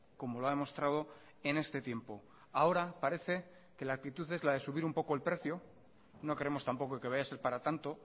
como lo ha demostrado en este tiempo ahora parece que la actitud es la de subir un poco el precio no creemos tampoco que vaya a ser para tanto